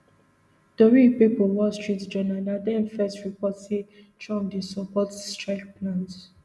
tori pipo wall street journal na dem first report say trump dey support strike plans